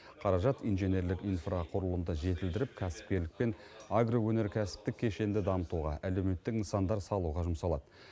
қаражат инженерлік инфрақұрылымды жетілдіріп кәсіпкерлік пен агроөнеркәсіптік кешенді дамытуға әлеуметтік нысандар салуға жұмсалады